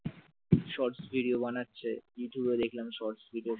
shorts video বানাচ্ছে ইউটিউবে দেখলাম shorts video